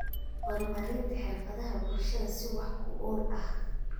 Horumarinta Xirfadaha Bulshada si wax ku ool ah.